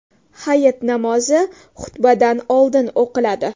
Hayit namozi xutbadan oldin o‘qiladi.